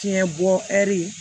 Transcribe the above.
Tiɲɛ bɔ ɛri